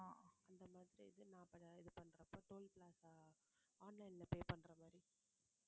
அந்த மாதிரி இது நா~ ப~ இது பண்றப்ப toll plaza online ல pay பண்ற மாதிரி